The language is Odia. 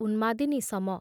ଉନ୍ମାଦିନୀ ସମ